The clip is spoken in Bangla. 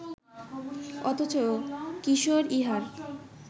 অথচ কিশোর ইহার